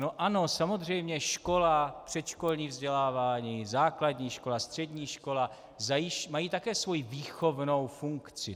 No ano, samozřejmě škola, předškolní vzdělávání, základní škola, střední škola, mají také svoji výchovnou funkci.